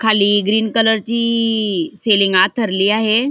खाली green colour ची ई सेलिंग आथरली आहे.